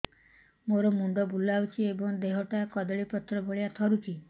ମୋର ମୁଣ୍ଡ ବୁଲାଉଛି ଏବଂ ଦେହଟା କଦଳୀପତ୍ର ଭଳିଆ ଥରୁଛି